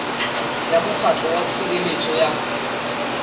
ya mokgatlo wa tshireletso ya